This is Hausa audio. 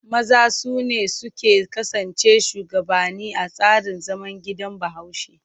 Maza su ne suke kasancewa shugabanni a tsarin zaman gidan Bahaushe.